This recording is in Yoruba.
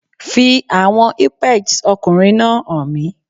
Fi àwọn ìpẹjs ọkùnrin náà hàn mí